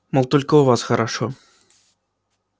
мол только у вас хорошо